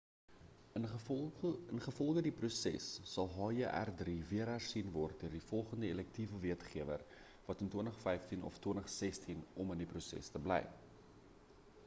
ingevolge die proses sal hjr-3 weer hersien word teen die volgende elektiewe wetgewer in of 2015 of 2016 om in die proses te bly